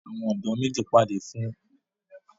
Àwọn ọ̀dọ́ méjì pàdé fún ìgbà àkọ́kọ́, wọn sì ní ìmọ̀lára àsopọ̀ lọ́gán.